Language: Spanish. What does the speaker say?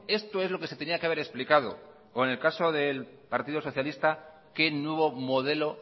esto es lo que se tenía que haber explicado o en el caso del partido socialista qué nuevo modelo